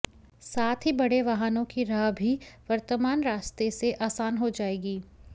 साथ ही बड़े वाहनों की राह भी वर्तमान रास्ते से आसान हो जाएगी